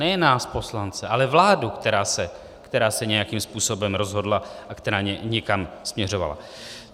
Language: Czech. Nejen nás poslance, ale vládu, která se nějakým způsobem rozhodla a která někam směřovala.